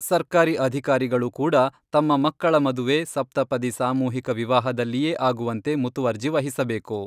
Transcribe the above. ಸರ್ಕಾರಿ ಅಧಿಕಾರಿಗಳು ಕೂಡ ತಮ್ಮ ಮಕ್ಕಳ ಮದುವೆ ಸಪ್ತಪದಿ ಸಾಮೂಹಿಕ ವಿವಾಹದಲ್ಲಿಯೇ ಆಗುವಂತೆ ಮುತುವರ್ಜಿ ವಹಿಸಬೇಕು.